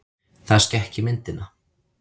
Það skekki myndina.